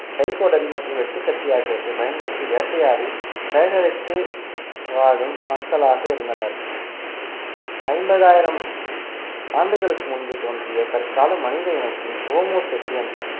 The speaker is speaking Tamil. கைக்கோடாரி மற்றும் வெட்டுக்கத்தி ஆகியவற்றை பயன்படுத்தி வேட்டையாடி சேகரித்து வாழும் மக்களாக இருந்தனர் ஐம்பதாயிரம் ஆண்டுகளுக்கு முன்பு தோன்றிய தற்கால மனித இனத்தின் ஓமோ செப்பியன்சு